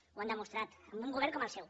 ho han demostrat amb un govern com el seu